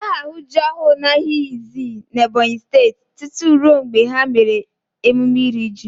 Ị gaghị ahụ ji ọhụụ n'ahịa Izii n'Ebonyi Steeti tutu rue mgbe ha mere emume iri ji.